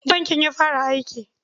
Jiya bankin ya fara aiki.